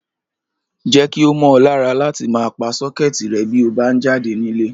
Jé̩ kí ó mó̩ o̩ lára láti máa pa só̩ké̩è̩tì re̩ bí o bá ń jáde nílé